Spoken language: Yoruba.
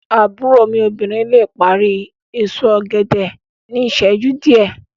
Àbúrò mí obìnrin le parí èso ògèdè ní ìsẹ́jú díẹ̀